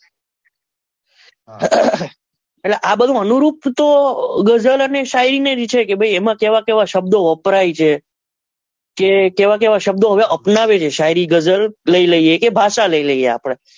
એટલે આ બધું અનુરૂપ તો ગઝલ અને શાયરી ને જ છે કે ભાઈ એમાં કેવા કેવા શબ્દો વપરાય છે કે કેવા કેવા શબ્દો અપનાવે છે શાયરી ગઝલ લઇ લઈએ કે ભાષા લઇ લઈએ આપડે.